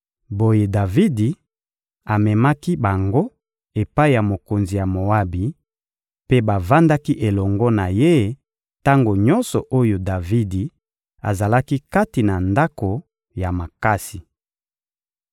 Boye Davidi amemaki bango epai ya mokonzi ya Moabi, mpe bavandaki elongo na ye tango nyonso oyo Davidi azalaki kati na ndako ya makasi.